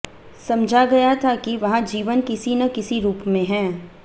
समझा गया था कि वहां जीवन किसी न किसी रुप में है